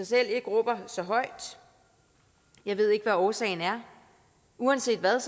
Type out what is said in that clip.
selv råber så højt jeg ved ikke hvad årsagen er uanset hvad